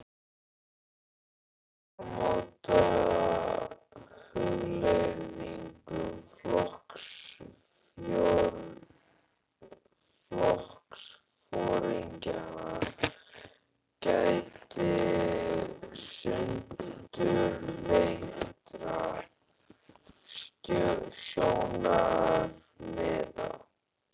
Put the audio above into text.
Í áramótahugleiðingum flokksforingjanna gætti sundurleitra sjónarmiða.